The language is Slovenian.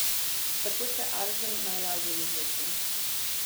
Tako se arzen najlažje izloči.